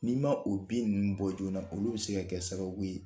N'i ma o bin ninnu bɔ joona, olu bi se ka kɛ sababu ye